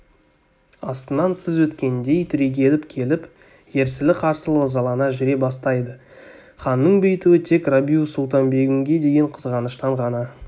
астынан сыз өткендей түрегеліп келіп ерсілі-қарсылы ызалана жүре бастайды ханның бүйтуі тек рабиу-сұлтан-бегімге деген қызғаныштан ғана